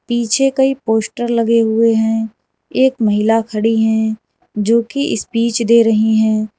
पीछे कई पोस्टर लगे हुए हैं एक महिला खड़ी हैं जोकि स्पीच दे रही हैं।